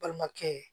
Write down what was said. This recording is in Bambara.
Balimakɛ